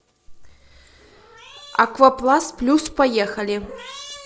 аквапласт плюс поехали